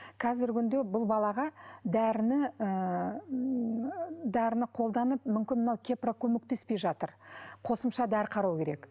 қазіргі күнде бұл балаға дәріні ыыы дәріні қолданып мүмкін мынау кепра көмектеспей жатыр қосымша дәрі қарау керек